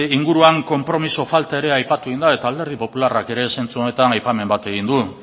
inguruan konpromiso falta ere aipatu egin da eta alderdi popularrak ere zentzu honetan aipamen bat egin du